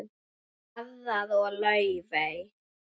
Garðar og Laufey.